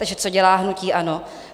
Takže co dělá hnutí ANO?